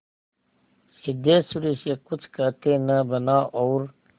सिद्धेश्वरी से कुछ कहते न बना और